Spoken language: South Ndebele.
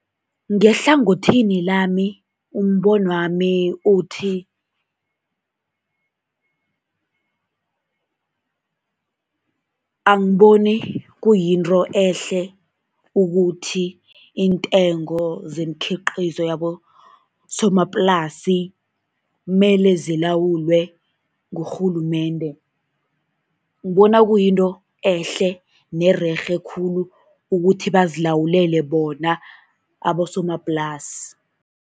Ngehlangothini lami, umbonwami uthi angiboni kuyinto ehle ukuthi iintengo zemikhiqizo yabosomaplasi mele zilawulwe ngurhulumende, ngibona kuyinto ehle nererhe khulu ukuthi bazilawulele bona abosomaplasi.